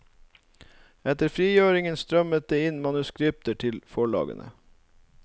Etter frigjøringen strømmet det inn manuskripter til forlagene.